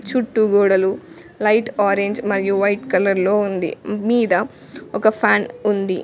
చుట్టూ గోడలు light orange మరియు వైట్ కలర్ లో ఉంది మీద ఒక ఫ్యాన్ ఉంది.